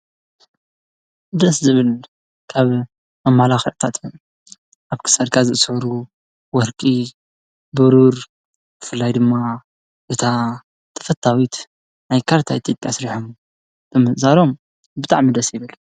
ደስ ዝብል ካምደሰይበልኽርዕታት ኣብ ክሠርካ ዝእሠሕሩ ወርቂ ብሩር ፍላይ ድማ እታ ተፈታዊት ናይ ካርታይ ትድ ሥርሖሙ ብምዛሮም ብጣዕ ምደሰይበል።